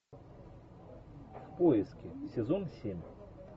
в поиске сезон семь